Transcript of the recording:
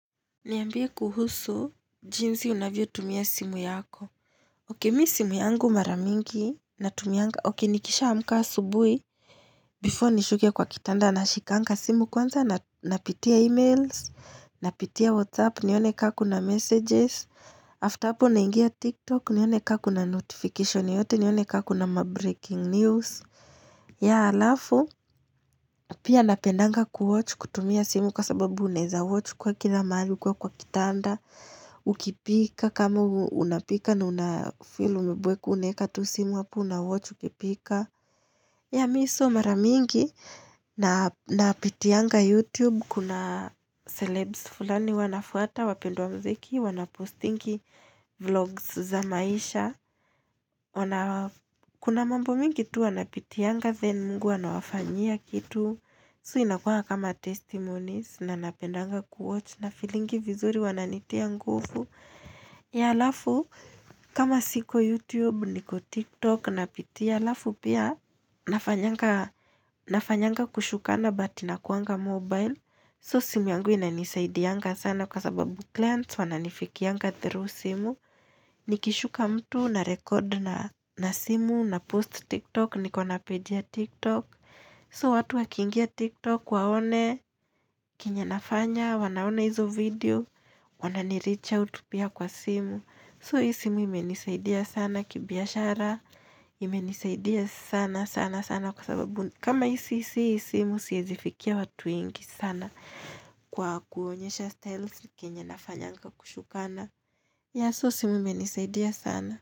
Niambie kuhusu, jinsi unavyotumia simu yako. Okay mimi simu yangu mara mingi, natumianga, okay nikishaamkaa asubuhi. Before nishuke kwa kitanda nashikanga simu kwanza, napitia emails, napitia whatsapp, nione kaa kuna messages. After apo, nangia tiktok, nione ka kuna notification yoyote, nione ka kuna ma breaking news. Yeah alafu, pia napendanga kuwatch kutumia simu kwasababu unaeza watch ukiwa kila maali ukiwa kwa kitanda. Ukipika kama unapika Nuna filu mbwe kune Katu simu hapu na watch Ukipika ya mimi so mara mingi Napitianga youtube Kuna celebs fulani huwa nafuata wapenduwa mziki Wanapostingi vlogs za maisha Kuna mambo mengi tu wanapitianga Then mungu anawafanyia kitu So inakua kama testimonies na napendanga kuwatch na filingi vizuri wananitia ngufu ya alafu kama siko youtube niko tiktok napitia alafu pia nafanyanga kushukana but nakuanga mobile So simu yangu inanisaidianga sana kwa sababu clients wananifikianga through simu Nikishuka mtu na record na simu na post tiktok nikona pedia tiktok So watu wakingia tiktok waone, kinyanafanya, wanaona hizo video, wananiricha utupia kwa simu. So hii simu imenisaidia sana kibiashara, imenisaidia sana sana sana kwa sababu kama si, si hii simu siezifikia watu wengi sana kwa kuonyesha styles, kenyenafanya nga kushukana. Ya so simu imenisaidia sana.